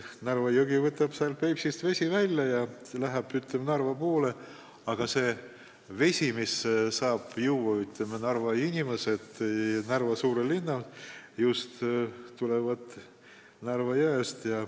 Narva jõgi võtab Peipsist vett ja voolab Narva poole ning see vesi, mida suure Narva linna inimesed joovad, tuleb just Narva jõest.